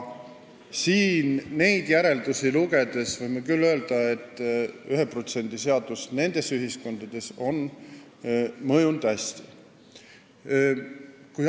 Siit neid järeldusi lugedes võib küll öelda, et 1% seadus on nendele ühiskondadele hästi mõjunud.